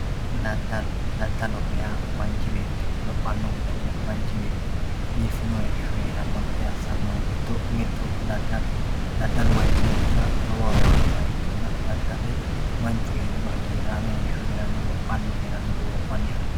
daddalo daddaloho yaa manch beetti lophanno gede manch betti bifino heesho heranno gede assanohu giddo mittu daddaloho daddalu manch beetira lowo horo aanoha ikkanna dadda'le manchu heeriro hagiiraame heeshsho heeranno lophanni heeranno duromanni haranno